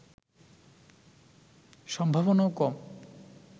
সম্ভাবনাও কম